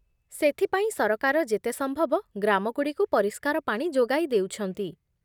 ସେଥିପାଇଁ ସରକାର ଯେତେ ସମ୍ଭବ ଗ୍ରାମଗୁଡ଼ିକୁ ପରିଷ୍କାର ପାଣି ଯୋଗାଇ ଦେଉଛନ୍ତି